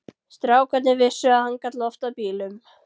Strákarnir vissu að hann gat loftað bílum.